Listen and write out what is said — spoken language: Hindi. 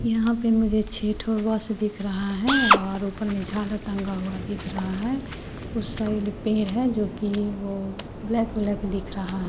यहां पे मुझे छे ठो दिख रहा है और ऊपर में झालर टांगा हुआ दिख रहा है उस साइड पेड़ है जो कि वो ब्लैक ब्लॉक दिख रहा है।